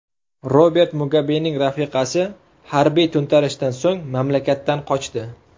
Robert Mugabening rafiqasi harbiy to‘ntarishdan so‘ng mamlakatdan qochdi.